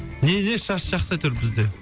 не не шаш жақсы әйтеуір бізде